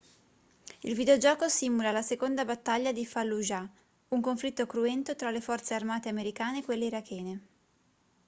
il videogioco simula la seconda battaglia di fallujah un conflitto cruento tra le forze armate americane e quelle irachene